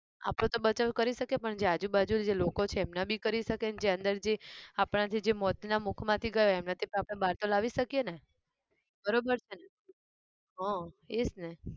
આપડો બચાવ કરી શકીએપણ જે આજુ બાજુ જે લોકો છે એમના બી કરી શકીએ અને અંદર જે આપણા જે જે મોતના મુખમાંથી ગયો એમનાથી બાર તો લાવી શકીએ ને. બરાબર છે ને? હા એ જ ને.